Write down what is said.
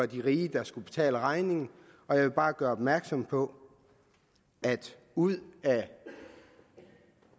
de rige der skal betale regningen og jeg vil bare gøre opmærksom på at ud af